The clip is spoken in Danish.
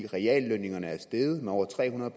reallønnen er steget med over tre hundrede